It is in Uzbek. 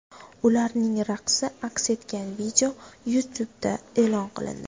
Ularning raqsi aks etgan video YouTube’da e’lon qilindi.